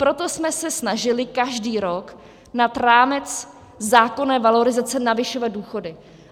Proto jsme se snažili každý rok nad rámec zákonné valorizace navyšovat důchody.